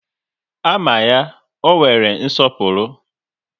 A ma ya, ọ nwere nsọpụrụ